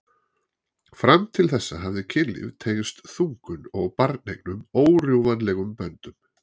Fram til þessa hafði kynlíf tengst þungun og barneignum órjúfanlegum böndum.